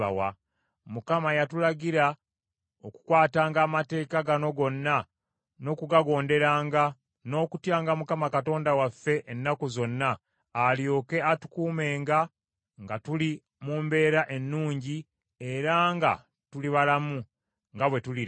Mukama n’atulagira okukwatanga amateeka gano gonna n’okugagonderanga, n’okutyanga Mukama Katonda waffe ennaku zonna, alyoke atukuumenga nga tuli mu mbeera ennungi, era nga tuli balamu, nga bwe tuli leero.